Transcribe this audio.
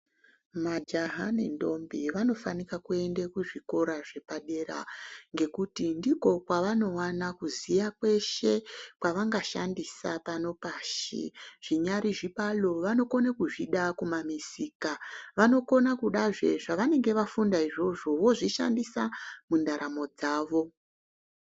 Majaha nendombi vanofanika kuenda kuzvikora zvepadera ngekuti ndiko kwavanovana kuziya kweshe kwavangashandisa pano pashi. Zvinyari chibalo vanokona kuzvida kumamusika. Vanokona kudazve zvavanenge vafunda izvozvo vozvishandisa mundaramo dzavo.